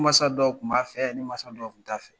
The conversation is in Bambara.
Ni masa dɔw tun b'a fɛ ni masa dɔw tun t'a fɛ